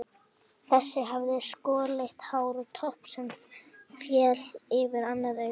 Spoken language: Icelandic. Þessi hafði skolleitt hár og topp sem féll yfir annað augað.